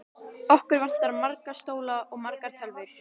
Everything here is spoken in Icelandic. Okkur vantar marga stóla og margar tölvur.